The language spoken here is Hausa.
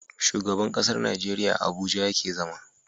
Shugaban ƙasar Nigeria a abuja yake zama